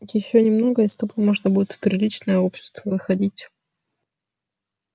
ещё немного и с тобой можно будет в приличное общество выходить